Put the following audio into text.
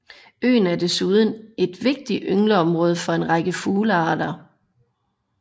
Øen er desuden et vigtigt yngleområde for en række fuglearter